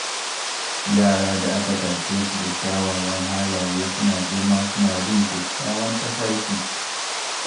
Yara da aka tashe su da kyawawan halaye suna girma suna bin kyakkyawan tafarki.